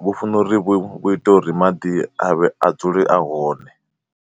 vhu funa uri vhu ite uri maḓi a vhe a dzule a hone.